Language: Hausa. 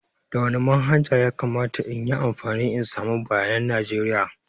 Da wani manhaja ya kamata in yi amfani in samu bayanan najeriya?